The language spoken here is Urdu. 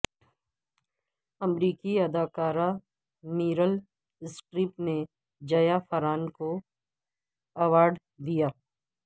امریکی اداکارہ میریل سٹریپ نے جیافرانکو کو ایوارڈ دیا